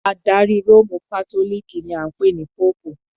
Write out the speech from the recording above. Adarí Róòmù Kátólíìkì ni a ń pè ní Póòpù.